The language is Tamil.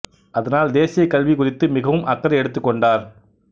அதனால் தேசிய கல்வி குறித்து மிகவும் அக்கறை எடுத்துக் கொண்டார்